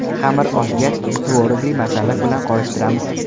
Xamir oshgach, tvorogli masalliq bilan qorishtiramiz.